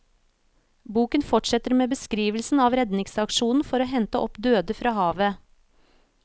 Boken fortsetter med beskrivelsen av redningsaksjonen for å hente opp døde fra havet.